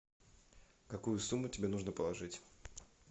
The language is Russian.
какую сумму тебе нужно положить